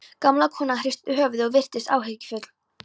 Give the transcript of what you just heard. Gamla konan hristi höfuðið og virtist áhyggjufull.